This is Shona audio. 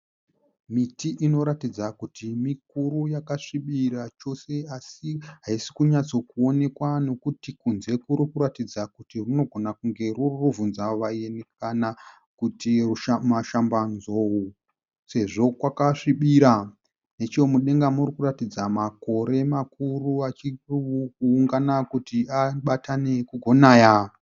Miti inoratidza kuti mikuru yakasvibira chose asi haisi kunyatsokuonekwa nekuti kunze kuri kuratidza kuti runogona kunge ruri rubvunzavaeni kana kuti mashambanzou sezvo kwakasvibira. Nechomudenga muri kuratidza makore makuru achiungana kuti abatane kugonaya.